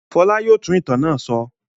Fọlá yóò tún ìtàn náà sọ.